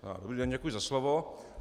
Dobrý den, děkuji za slovo.